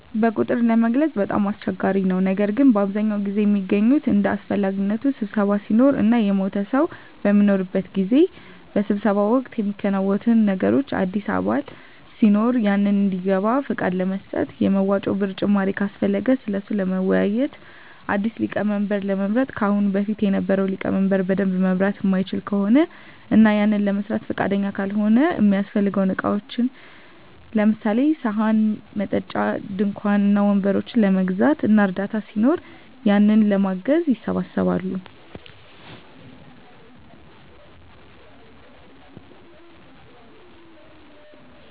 በቁጥር ለመግለፅ በጣም አስቸጋሪ ነው ነገር ግን በአብዛኛው ጊዜ ሚገናኙት እንደ አሰፈላጊነቱ ስብሰባ ሲኖር እና የሞተ ሰው በሚኖርበት ጊዜ። በስብሰባው ወቅት ሚከናወኑት ነገሮች አዲስ አባል ሲኖር ያንን እንዲገባ ፍቃድ ለመስጠት፣ የመዋጮ ብር ጭማሪ ካሰፈለገ ስለሱ ለመወያዬት፣ አዲስ ሊቀመንበር ለመምረጥ ከአሁን በፊት የነበረው ሊቀመንበር በደንብ መምራት ማይችል ከሆነ እና ያንን ለመስራት ፍቃደኛ ካልሆነ፣ እሚያሰፈልጉ እቃዎችን ለምሳሌ፦ ሰሀን፣ መጠጫ፣ ድንኳን እና ወንበሮችን ለመግዛት እና እርዳታ ሲኖር ያንን ለማገዝ ይሰባሰባሉ።